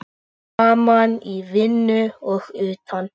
Saman í vinnu og utan.